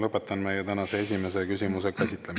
Lõpetan meie tänase esimese küsimuse käsitlemise.